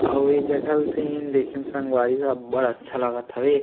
अऊ एक झक हव सहीक देखेम संगवारी हो देखेम अब्बड़ अच्छा लगात हवे।